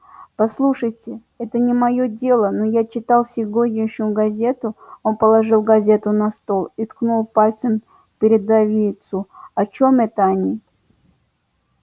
послушайте это не моё дело но я читал сегодняшнюю газету он положил газету на стол и ткнул пальцем в передовицу о чём это они